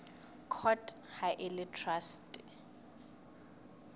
court ha e le traste